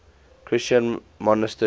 christian monasteries